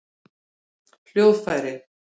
hljóðfæri